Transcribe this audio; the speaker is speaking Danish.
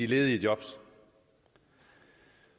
ledige jobs